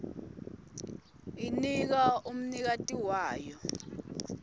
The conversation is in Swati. inika umnikati wayo